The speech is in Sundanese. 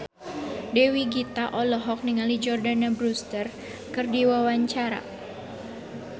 Dewi Gita olohok ningali Jordana Brewster keur diwawancara